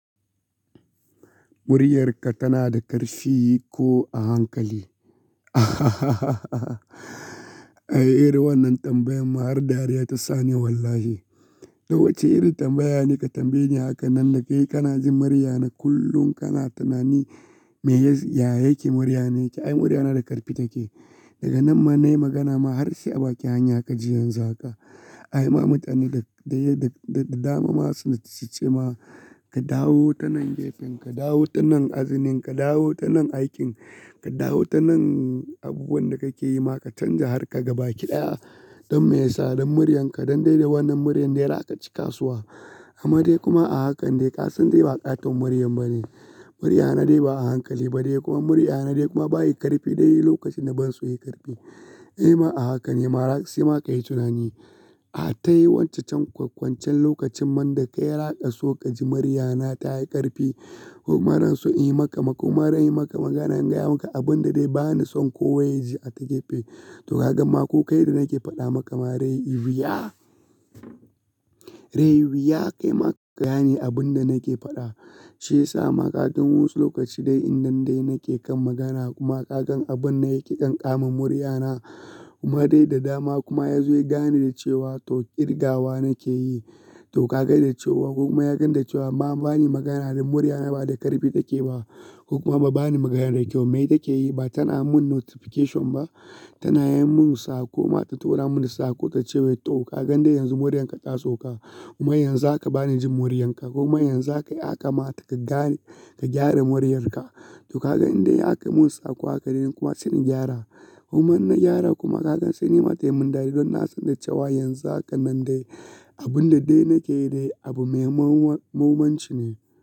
Muryarka tana da ƙarfi ko a hankali? Ai irin wannan tambayan ma har dariya ta sa ni wallahi. To wacce iri tambaya ne ka tambaye ni haka nan da kai kana jin muryana kullum kana tunani me ya yayi ke muryana yake. Ai muryana da ƙarfi take. Daga nan ma nai magana ma har sai a baki hanya ka ji yanzu haka. Ai ma mutane da dama masu su ce ma ka dawo ta nan gefen, ka dawo ta nan azinin, ka dawo ta nan aikin, ka dawo ta nan abubuwan da kake yi ma ka canja har ka gaba kiɗaya don me yasa? Don muryanka don dai dai wannan muryan dai raka ci kasuwa. Amma dai kuma a hakan dai ƙasan dai ba ƙaton muryar ba ne. Muryana dai ba a hankali ba dai kuma muryana dai kuma bayi ƙarfi dai lokacin da banso yi ƙarfi. Ai ma a hakan ai maras yi ma ka yi tunani. A ta yi wancan kwankwancen lokacin man da kai raka so ka ji muryana ta yi ƙarfi kuma ransu in yi maka kuma ran yi maka maganan gaya maka abun da dai bani son ko waye ji a takefe. To ka gan ma ko kai da nake faɗa maka ma dai riwu ya. Eh wuya kaima kagane abinda nake faɗa. Shi yasa ma ka gan wasu lokaci dai in dain dai nake kan magana kuma ka gan abun na yake ƙanƙama muryana kuma dai da dama kuma ya zo ya gane da cewa to ƙirgawa nake yi. To ka gani da cewa kuma ya gani da cewa ba bani magana da muryana ba da ƙarfi take ba. Kuma ba bani magana da kyau mai take yi ba tana mun notification ba. Tana yin mun sako ma ta tora mun sako ta ce wai to ka gan dai yanzu muryanka taso ka. Kuma yanzu aka bani jin muryanka kuma yanzu aka yi haka ma ta ka gane ka gyara muryarka. To ka gan indai aka mun sako haka dai kuma sai ni gyara. Kuma inna gyara kuma ka gan sai ni ma tayi mun dadi don na san da cewa yanzu haka nan dai abun da dai nake yi dai abu mai mawanci ne.